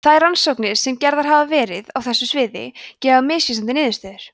þær rannsóknir sem gerðar hafa verið á þessu sviði gefa misvísandi niðurstöður